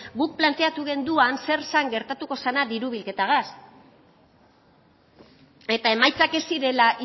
guk planteatu genuen zer zen gertatuko zena diru bilketarekin eta emaitzak ez zirela